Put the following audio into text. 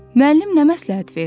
Müəllim nə məsləhət verdi?